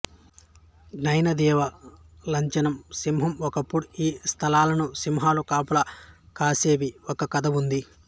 జైన దేవుఁ లాంచనం సింహం ఒకప్పుడు ఈ స్థలాలను సింహాలు కాపలా కాసేవఁ ఒక కథ ఉంది